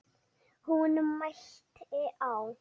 Hún mælti: Á